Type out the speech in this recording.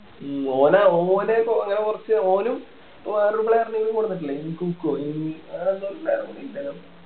ഓനാ ഓനെ ഇപ്പൊ അങ്ങനെ കൊറച്ച് ഓനും വേറൊരു player നും കൊടുത്തിട്ടില്ലേ ഇങ്കുക്കോ ഇൻ അതെന്തോ ആഹ്